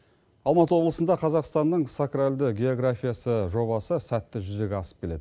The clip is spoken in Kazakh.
алматы облысында қазақстанның сакралды географиясы жобасы сәтті жүзеге асып келеді